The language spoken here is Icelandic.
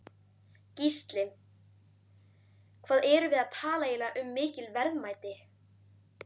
Gísli: Hvað erum við að tala eiginlega um mikil verðmæti?